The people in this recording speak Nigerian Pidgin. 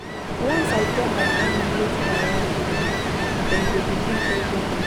Once I tell my family wetin I wan do, dem go begin pressure me.